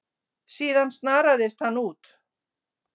Síðan snaraðist hann út.